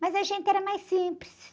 Mas a gente era mais simples.